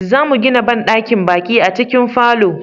zamu gina banɗakin baƙi a cikin falo